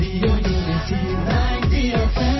radio unity 90 F